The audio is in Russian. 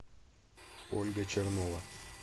ольга чернова